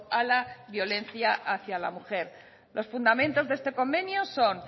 a la violencia hacia la mujer los fundamentos de este convenio son